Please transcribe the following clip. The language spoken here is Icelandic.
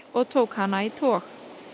og tók hana í tog